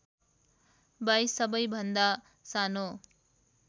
२२ सबैभन्दा सानो